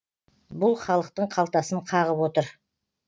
бұл халықтың қалтасын қағып отыр